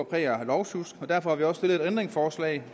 præg af lovsjusk og derfor har vi også stillet et ændringsforslag